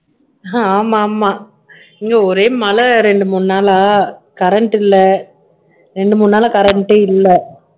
ஆமா ஆமா இங்க ஒரே மழை ரெண்டு மூணு நாளா current இல்ல ரெண்டு மூணு நாளா current ஏ இல்ல